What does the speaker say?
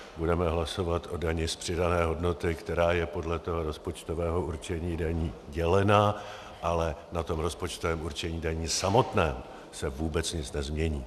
Budeme hlasovat o dani z přidané hodnoty, která je podle toho rozpočtového určení daní dělena, ale na tom rozpočtovém určení daní samotném se vůbec nic nezmění.